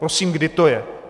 Prosím, kdy to je?